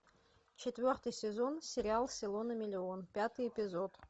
четвертый сезон сериал село на миллион пятый эпизод